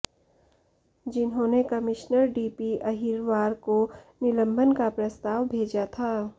जिन्होंने commissioner DP Ahirwar को निलंबन का प्रस्ताव भेजा था